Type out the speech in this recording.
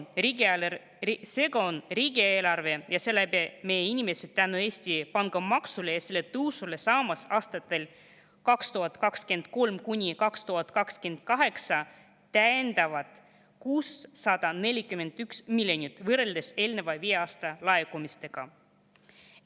Seega on riigieelarve ja seeläbi meie inimesed tänu Eesti pangamaksule ja selle tõusule saamas aastatel 2023–2028 täiendavalt 641 miljonit võrreldes eelneva viie aasta laekumistega.